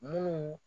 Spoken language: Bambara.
Munnu